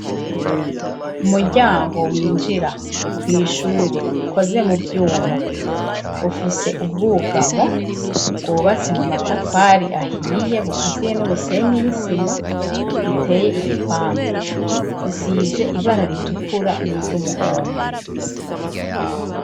Umuryango winjira kw'ishuri ukoze mu vyuma ufise ubwugamo bwubatse mu matafari ahiye bukaziye n'umusenyi n'isima, riteye igipande risize ibara ritukura n'iryumuhondo.